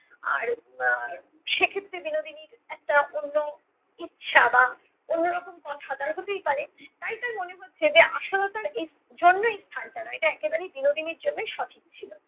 আর আহ সে ক্ষেত্রে বিনোদিনীর একটা অন্য ইচ্ছা বা অন্যরকম কথা তারা হতেই পারে তাই তার মনে হচ্ছে যে আশালতার এই জন্য এই স্থানটা না এটা একেবারেই বিনোদিনীর জন্যেই সঠিক ছিলো।